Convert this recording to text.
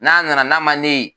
N'a nana n'a ma ne ye